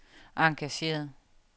engageret